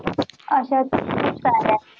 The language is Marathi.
आसेल खुप साऱ्या